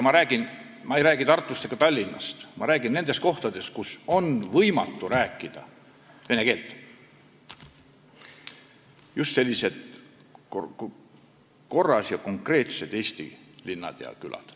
Ma ei räägi Tartust ega Tallinnast, ma räägin nendest kohtadest, kus on võimatu rääkida vene keelt, just sellistest konkreetsetest, korras eesti linnadest ja küladest.